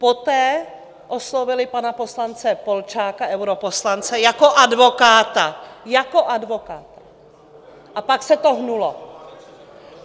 Poté oslovily pana poslance Polčáka, europoslance, jako advokáta, jako advokáta, a pak se to hnulo.